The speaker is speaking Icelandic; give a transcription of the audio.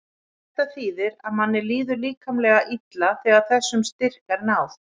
Þetta þýðir að manni líður líkamlega illa þegar þessum styrk er náð.